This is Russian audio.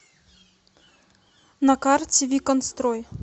на карте виконтстрой